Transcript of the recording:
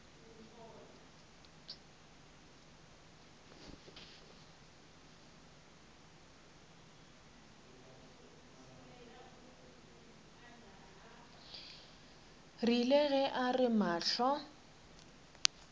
rile ge a re mahlo